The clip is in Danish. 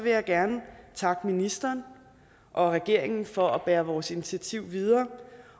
jeg gerne takke ministeren og regeringen for at bære vores initiativ videre